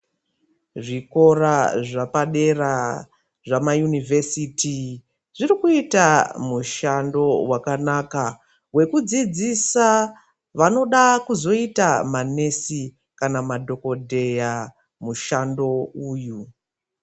Zvikora zvapadera zvamainivhesiti zvirikuita mushando wakanaka wekudzidzisa vanoda kuzoita manesi kana madhokodheya mushando uyu